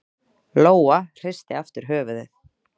Lóa hristi aftur höfuðið.